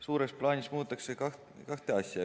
Suures plaanis muudetakse kahte asja.